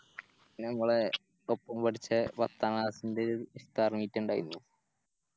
പിന്നെ മ്മളെ ഒപ്പം പഠിച്ചേ പത്താം Class ൻറെ ഇഫ്താർ ഇറങ്ങീറ്റിണ്ടായിന്